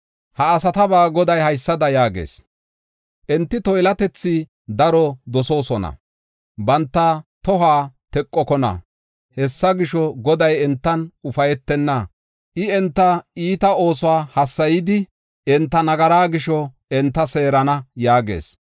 Ha asataba Goday haysada yaagees: “Enti toylatethi daro dosoosona; banta tohuwa teqokona. Hessa gisho, Goday entan ufaytenna. I enta iita oosuwa hassayidi, enta nagaraa gisho enta seerana” yaagees.